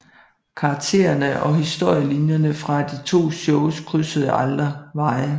Karaktererne og historielinjerne fra de to shows krydsede aldrig veje